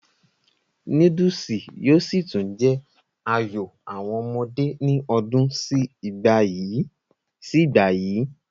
núdùsì yóò sì tún jẹ́ àyò àwọn ọmọdé ní ọdún sí ìgbà yìí